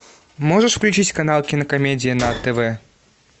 можешь включить канал кинокомедия на тв